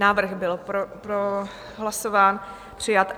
Návrh byl prohlasován, přijat.